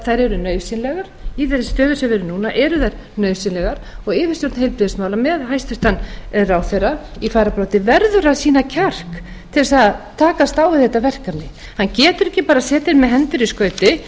þær eru nauðsynlegar í þeirri stöðu sem við erum núna eru þær nauðsynlegar og yfirstjórn heilbrigðismála með hæstvirtum ráðherra í fararbroddi verður að sýna kjark til þess að takast á við þetta verkefni hann getur ekki bara setið með hendur í skauti